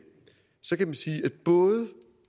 så kan man sige at både